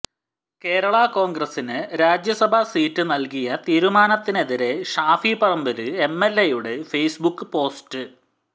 കേരളാ കോണ്ഗ്രസിന് രാജ്യസഭാ സീറ്റ് നല്കിയ തീരുമാനത്തിനെതിരെ ഷാഫി പറമ്പില് എംഎല്എയുടെ ഫെയ്സ് ബുക്ക് പോസ്റ്റ്